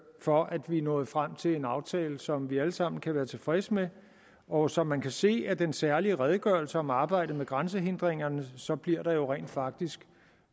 for at vi er nået frem til en aftale som vi alle sammen kan være tilfredse med og som man kan se af den særlige redegørelse om arbejdet med grænsehindringer bliver der jo rent faktisk